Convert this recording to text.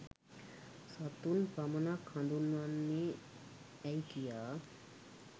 සතුන් පමණක් හඳුන්වන්නේ ඇයි කියා